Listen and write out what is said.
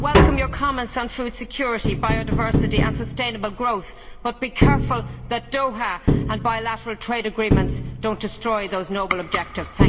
I welcome your comments on food security, biodiversity and sustainable growth, but be careful that Doha and bilateral trade agreements do not destroy those noble objectives.